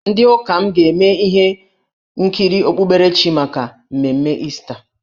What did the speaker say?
Ndị ụka m ga-eme ihe nkiri okpukperechi maka mmemme Ista.